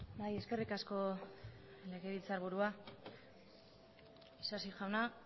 bai eskerrik asko legebiltzarburua isasi jauna